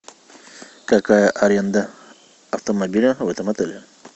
какая аренда автомобиля в этом отеле